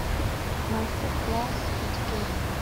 мастер класс педикюр